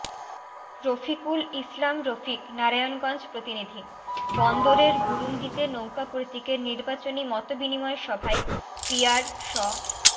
রফিকুল ইসলাম রফিক নারায়ণগঞ্জ প্রতিনিধিঃ বন্দরের বুরুন্দীতে নৌকা প্রতীকের নির্বাচনি মত বিনিময় সভায় পিয়ার স